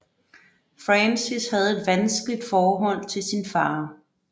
Francis havde et vanskeligt forhold til sin far